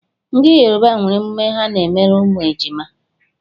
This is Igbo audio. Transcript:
Ndị Yoruba nwere emume ha n'emere ụmụ ejima.